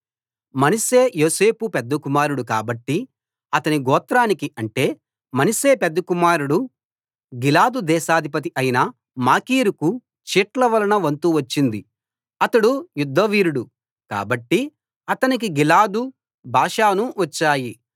మనష్షే యోసేపు పెద్ద కుమారుడు కాబట్టి అతని గోత్రానికి అంటే మనష్షే పెద్ద కుమారుడు గిలాదు దేశాధిపతి అయిన మాకీరుకు చీట్ల వలన వంతు వచ్చింది అతడు యుద్ధవీరుడు కాబట్టి అతనికి గిలాదు బాషాను వచ్చాయి